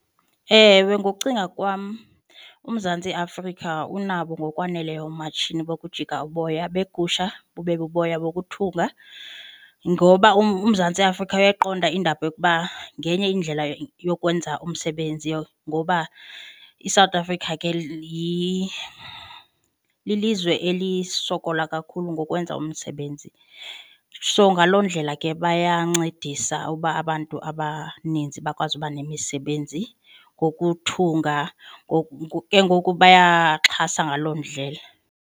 Ewe, ngokucinga kwam uMzantsi Afrika unabo ngokwaneleyo oomatshini bokujika uboya beegusha bube buboya bokuthunga. Ngoba uMzantsi Afrika uyayiqonda indaba yokuba ngenye indlela yokwenza umsebenzi ngoba iSouth Africa ke lilizwe elisokola kakhulu ngokwenza umsebenzi. So ngaloo ndlela ke bayancedisa uba abantu abaninzi bakwazi uba nemisebenzi wokuthunga. Ke ngoku bayaxhasa ngaloo ndlela.